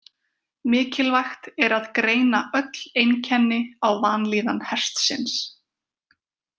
Mikilvægt er að greina öll einkenni á vanlíðan hestsins.